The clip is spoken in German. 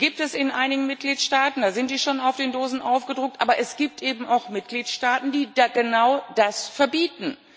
Die gibt es in einigen Mitgliedstaaten da sind sie schon auf den Dosen aufgedruckt aber es gibt eben auch Mitgliedstaaten, die genau das verbieten.